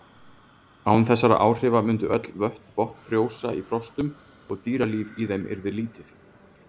Án þessara áhrifa mundu öll vötn botnfrjósa í frostum og dýralíf í þeim yrði lítið.